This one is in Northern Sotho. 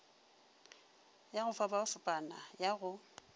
ya go fapafapana ya go